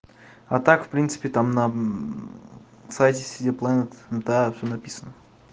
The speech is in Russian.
а так в принципе там на сайте сити планет ну да всё написано